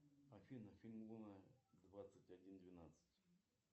афина фильм луна двадцать один двенадцать